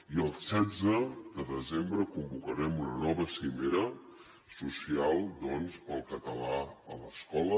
i el setze de desembre convocarem una nova cimera social pel català a l’escola